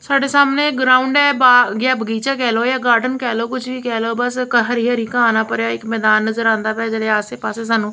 ਸਾਡੇ ਸਾਹਮਣੇ ਇੱਕ ਗਰਾਉਂਡ ਐ ਬਾਗ ਜਾਂ ਬਗੀਚਾ ਕਹਿ ਲੋ ਜਾਂ ਗਾਰਡਨ ਕਹਿ ਲਓ ਕੁਛ ਵੀ ਕਹਿ ਲਓ ਬਸ ਹਰੀ-ਹਰੀ ਘਾਹ ਨਾਲ ਭਰਿਆ ਇੱਕ ਮੈਦਾਨ ਨਜ਼ਰ ਆਉਂਦਾ ਪਿਆ ਐ ਜਿਹੜੇ ਆਸੇ-ਪਾਸੇ ਸਾਨੂੰ --